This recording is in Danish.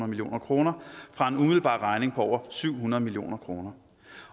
million kroner for en umiddelbar regning på over syv hundrede million kroner